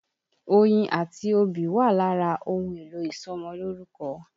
Oyin àti obì wà lára ohun èlò ìṣọmọlórúkọ.